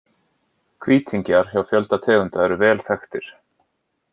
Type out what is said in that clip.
Hvítingjar hjá fjölda tegunda eru vel þekktir.